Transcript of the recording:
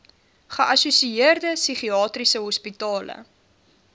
geassosieerde psigiatriese hospitale